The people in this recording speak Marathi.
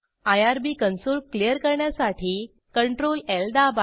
आयआरबी कन्सोल क्लियर करण्यासाठी Ctrl Lदाबा